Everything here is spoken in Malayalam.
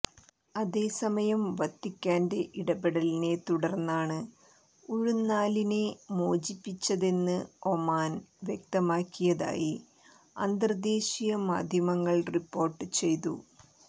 അതേസമയം വത്തിക്കാന്റെ ഇടപെടലിനെ തുടർന്നാണ് ഉഴുന്നാലിനെ മോചിപ്പിച്ചതെന്ന് ഒമാൻ വ്യക്തമാക്കിയതായി അന്തർദേശീയ മാധ്യമങ്ങൾ റിപ്പോർട്ട് ചെയ്തു